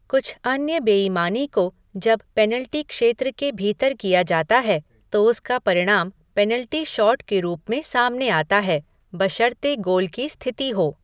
कुछ अन्य बेईमानी को जब पेनाल्टी क्षेत्र के भीतर किया जाता है तो उसका परिणाम पेनाल्टी शॉट के रूप में सामने आता है बशर्ते गोल की स्थिति हो।